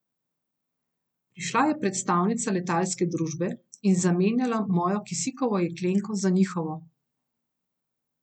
Prišla je predstavnica letalske družbe in zamenjala mojo kisikovo jeklenko za njihovo.